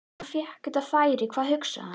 Þegar hann fékk þetta færi, hvað hugsaði hann?